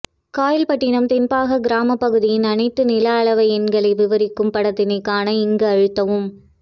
காயல்பட்டினம் தென் பாக கிராம பகுதியின் அனைத்து நில அளவை எண்களை விவரிக்கும் படத்தினை காண இங்கு அழுத்தவும்